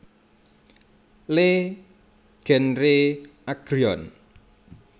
Le genre Agrion